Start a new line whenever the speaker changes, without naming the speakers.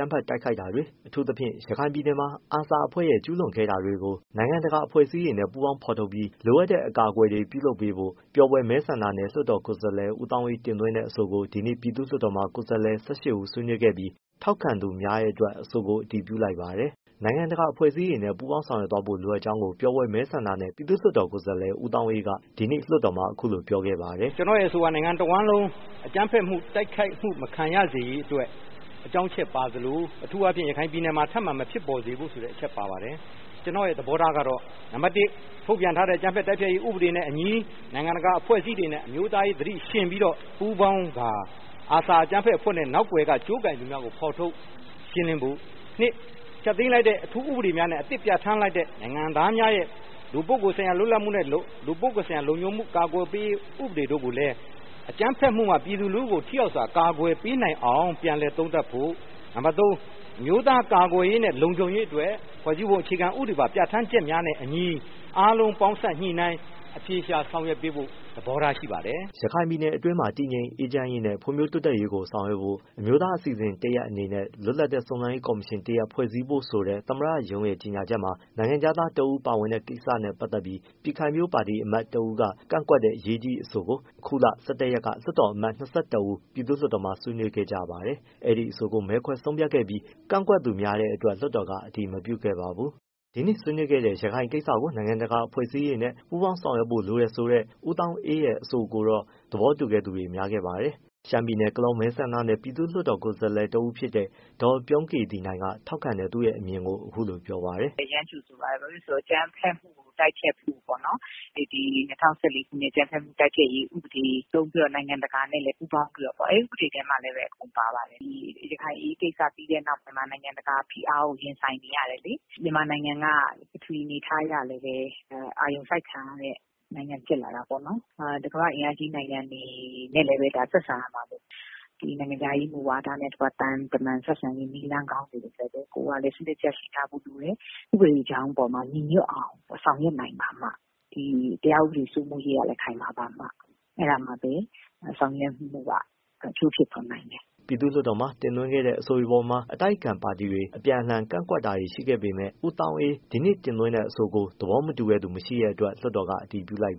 မ်းဖက်တိုက်ခိုက်တာတွေ အထူးသဖြင့် ရခိုင်ပြည်နယ်မှာ ARSA အဖွဲ့ ကျူးလွန်ခဲ့တာတွေကို နိုင်ငံတကာအဖွဲ့အစည်းတွေနဲ့ ပူးပေါင်းဖော်ထုတ်ပြီး လိုအပ်တဲ့အကာအကွယ်တွေပေးဖို့ ပျော်ဘွယ်မဲဆန္ဒနယ် လွှတ်တော်ကိုယ်စားလှယ် ဦးသောင်းအေးတင်သွင်းတဲ့အဆိုကို ဒီနေ့ ပြည်သူ့ လွှတ်တော် မှာ ကိုယ်စားလှယ် ၁၈ ဦး ဆွေးနွေးခဲ့ကြပြီး ထောက်ခံသူများတဲ့အတွက် အဆိုကို အတည်ပြုလိုက်ပါတယ်။ နိုင်ငံတကာအဖွဲ့အစည်းတွေနဲ့ ပူးပေါင်းဆောင်ရွက်သွားဖို့လိုအပ်ကြောင်း ပျော်ဘွယ
် မဲဆန္ဒ နယ် ပြည်သူ့ လွှတ်တော် ကိုယ်စားလှယ် ဦးသောင်းအေးက ဒီနေ့လွှတ်တော်မှာ အခုလိုပြောခဲ့ပါတယ်။ “ကျနော့်ရဲ့အဆိုက နိုင်ငံတဝန်းလုံးအကြမ်းဖက် တိုက်ခိုက်မှုမခံရစေရေးအတွက် အကြောင်းအချက်ပါသလို အထူးအားဖြင့် ရခိုင်ပြည်နယ်မှာထပ်မံမဖြစ်ပေါ်စေဖို့-ဆိုတဲ့အချက် ပါပါတယ်။ ကျနော့်ရဲ့သဘောထားကတော့ နံပါတ်တစ်- ထုတ်ပြန်ထားတဲ့ အကြမ်းဖက်တိုက်ဖျက်ရေးဥပဒေနဲ့အညီ နိုင်ငံတကာအဖွဲ့အစည်းတွေနဲ့ အမျိုး သားရေး၊ အမျိုးသားရေးအသိ ယှဉ်ပြီးပူးပေါင်းကာ အာဆာ အကြမ်းဖက်အဖွဲ့နဲ့ နောက်ကွယ်က ကြိုးကိုင်သူ များကို ဖော်ထုတ်ရှင်းလင်းဖို့၊ နှစ်- ဖျက်သိမ်း လိုက်တဲ့ အထူးဥပဒေများနဲ့ နိုင်ငံသားများရဲ့ လူပုဂ္ဂိုလ်ဆိုင်ရာ လွတ်လပ်ခွင့်နဲ့ လုံခြုံမှုဆိုင်ရာ အကာအကွယ်ပေးရေး ဥပဒေတို့ကိုလည်း အကြမ်းဖက်မှုမှ ပြည်သူလူထုကို ထိရောက်စွာ အကာကွယ် ပေးနိုင်အောင် ပြန်လည်သုံးသပ်ဖို့၊ နံပါတ် သုံး- အမျိုးသားကာကွယ်ရေးနဲ့ လုံခြုံရေး အတွက် ဖွဲ့စည်းပုံအခြေခံဥပဒေပါ ပြဌာန်းချက်များနဲ့အညီ အားလုံးပေါင်းစပ် ညှိနှိုင်း အဖြေရှာ ဆောင်ရွက်ပေးဖို့ သဘောထားရှိပါတယ်။
” ရခိုင်ပြည်နယ်အတွင်းမှာ တည်ငြိမ်အေးချမ်းရေးနဲ့ ဖွ့ံ့ဖြိုးတိုးတက်ရေးကိုဆောင်ရွက်ဖို့ အမျိုးသားအစီအစဉ် တရပ်အနေနဲ့ လွတ်လပ်တဲ့ စုံစမ်းရေးကော်မရှင်တစ်ရပ်ဖွဲ့စည်းဖို့ ဆိုတဲ့ သမ္မတရုံးရဲ့ကြေငြာချက်မှာ နိုင်ငံခြား သားတဦး ပါဝင်တဲ့ကိစ္စနဲ့ပတ်သက်ပြီး ပြည်ခိုင်ဖြိုးပါတီအမတ် တစ်ဦးကကန့်ကွက်တဲ့အရေးကြီးအဆိုကို အခုလ ၁၁ ရက်က လွှတ်တော်အမတ် ၂၁ ဦး ပြည်သူ့လွှတ်တော်မှာ ဆွေးနွေးခဲ့ကြပါတယ်။ အဲဒီအဆိုကို မဲခွဲ ဆုံးဖြတ်ခဲ့ပြီး ကန့်ကွက်သူများတဲ့အတွက် လွှတ်တော်က အတည်မပြုခဲ့ပါဘူး။ ဒီနေ့ ဆွေးနွေးခဲ့တဲ့ ‘ရခိုင်ကိစ္စကို နိုင်ငံတကာအဖွဲ့အစည်းတွေနဲ့ ပူးပေါင်းဆောင်ရွက်ဖို့ လိုတယ်’ ဆိုတဲ့ ဦး သောင်းအေးရဲ့အဆိုကိုတော့ သဘောတူသူများခဲ့ပါတယ်။ ရှမ်းပြည် နယ် ကလောမဲဆန္ဒနယ် ပြည်သူ့လွှတ် တော် ကိုယ်စားလှယ် ဒေါ်ပြုံးကေသီနိုင်က ထောက်ခံတဲ့သူရဲ့အမြင်ကို အခုလိုပြောပါတယ်။
“ကျမတို့ကလည်း အရမ်းကြိုဆိုပါတယ်။ ဘာဖြစ်လို့လဲဆိုတော့ အကြမ်းဖက်တိုက်ဖျက် မှုပေါ့နော်၊ ၂၀၁၄ အကြမ်းဖက်မှု တိုက်ဖျက်ရေးဥပဒေပေါ့၊ နိုင်ငံတကာနဲ့ပူးပေါင်းပြီးတော့ အဲဒီဥပဒေထဲမှာလည်း ပါပါတယ်။ ရခိုင် အရေးကိစ္စနောက်ပိုင်းမှာ နိုင်ငံတကာဖိအားကို ရင်ဆိုင်နေရတယ်လေ။ မြန်မာနိုင်ငံက ပထဝီအနေအထားအရ လည်း အာရုံစိုက်ခံရတဲ့ နိုင်ငံဖြစ်လာ တာပေါ့နော်။ ကမ္ဘာ့အင်အားကြီးနိုင်ငံတွေနဲ့လည်း ဆက်ဆံရမှာပေါ့နော်။ ဒီနိုင်ငံခြားရေးမူဝါဒနဲ့ သံတမန်ဆက်ဆံရေး နည်း လမ်းကောင်းတွေကိုလည်း ကိုယ်က ရှိထားဖို့လိုတယ်။ ဥပဒေ ကြောင်းပေါ်မှာ ညီညွတ်အောင်ဆောင်ရွက်နိုင်ပါမှ တရား ဥပဒေ စိုးမိုးရေး ကလည်း ခိုင်မာပါမှ ဆောင်ရွက်မှုက အကျိုးဖြစ်ထွန်း နိုင်မယ်
။” ပြည်သူ့လွှတ်တော်မှာတင်သွင်းခဲ့တဲ့ အဆိုတွေအပေါ်မှာ အတိုက်အခံပါတီတွေ အပြန်အလှန် ကန့်ကွက်တာ တွေရှိခဲ့ပေမဲ့ လွှတ်တော်ကိုယ်စားလှယ် ဦးသောင်းအေး ဒီနေ့တင်သွင်းတဲ့အဆိုကို သဘောမတူတဲ့သူ မရှိတဲ့ အတွက် လွှတ်တော်က အတည်ပြုလိုက်